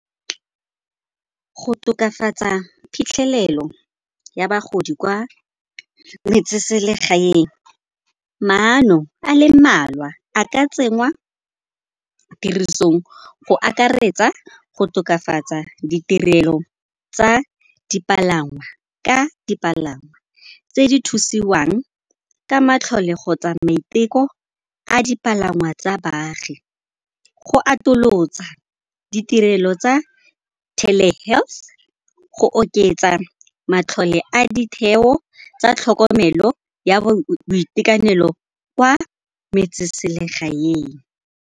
Go tokafatsa phitlhelelo ya bagodi kwa metseselegaeng, maano a le mmalwa a ka tsenngwa tirisong go akaretsa go tokafatsa ditirelo tsa dipalangwa ka dipalangwa tse di thusiwang ka matlhole kgotsa maiteko a dipalangwa tsa baagi. Go atolosa ditirelo tsa tele health, go oketsa matlole a ditheo tsa tlhokomelo ya boitekanelo kwa metseselegaeng.